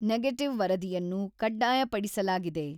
Negative ವರದಿಯನ್ನು ಕಡ್ಡಾಯಪಡಿಸಲಾಗಿದೆ.